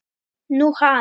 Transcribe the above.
Nú, hann.